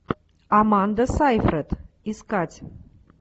аманда сайфред искать